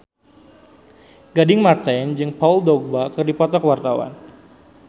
Gading Marten jeung Paul Dogba keur dipoto ku wartawan